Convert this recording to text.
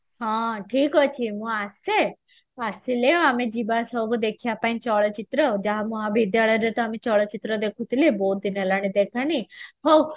ହଁ ଠିକ ଅଛି ମୁଁ ଆସେ ମୁଁ ଆସିଲେ ଯିବା ସବୁ ଦେଖିବା ପାଇଁ ଚଳଚିତ୍ର ଯାହା ମହାବିଦ୍ୟାଳୟରେ ଆମେ ଚଳଚିତ୍ର ଦେଖୁଥିଲେ ବହୁତ ଦିନ ହେଲାଣି ଦେଖା ହେଇନି ହଉ